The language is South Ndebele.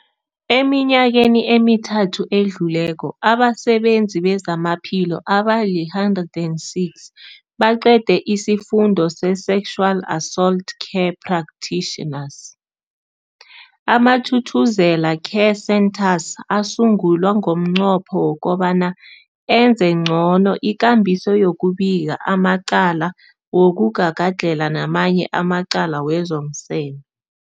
Eminyakeni emithathu edluleko, abasebenzi bezamaphilo abali-106 baqede isiFundo se-Sexual Assault Care Practitioners. AmaThuthuzela Care Centres asungulwa ngomnqopho wokobana enze ngcono ikambiso yokubika amacala wokugagadlhela namanye amacala wezomseme.